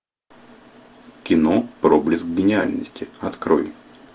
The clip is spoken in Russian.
кино проблеск гениальности открой